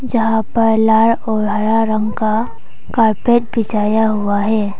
जहां पर लाल और हरा रंग का कारपेट बिछाया हुआ है।